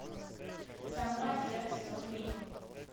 самурай джек сезон три